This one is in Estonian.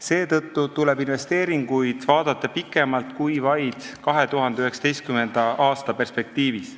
Seetõttu tuleb investeeringuid vaadata pikemalt kui vaid 2019. aasta perspektiivis.